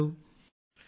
Rajesh Prajapati sir